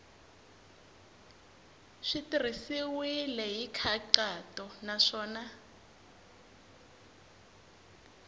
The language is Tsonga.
swi tirhisiwile hi nkhaqato naswona